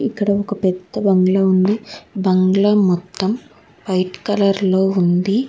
ఇక్కడ ఒక పెద్ద బంగ్లా ఉంది బంగ్లా మొత్తం వైట్ కలర్ లో ఉంది.